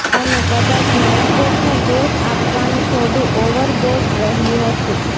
અને કદાચ નાઈટ્રેટને દોષ આપવાનું થોડું ઓવરબોર્ડ રહ્યું હતું